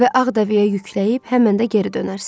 Və Ağdağıya yükləyib həmən də geri dönərsiz.